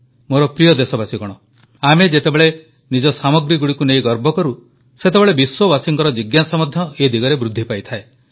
ମୋର ପ୍ରିୟ ଦେଶବାସୀଗଣ ଆମେ ଯେତେବେଳେ ନିଜ ସାମଗ୍ରୀଗୁଡ଼ିକୁ ନେଇ ଗର୍ବ କରୁ ସେତେବେଳେ ବିଶ୍ୱବାସୀଙ୍କ ଜିଜ୍ଞାସା ମଧ୍ୟ ଏ ଦିଗରେ ବୃଦ୍ଧିପାଏ